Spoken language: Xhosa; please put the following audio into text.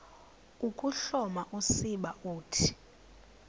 ukuhloma usiba uthi